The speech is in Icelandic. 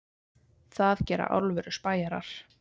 Það gera alvöru spæjarar.